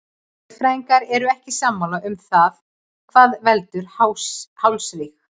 Sérfræðingar eru ekki sammála um það hvað veldur hálsríg.